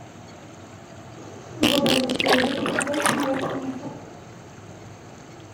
врубай на телевизоре передачу моя планета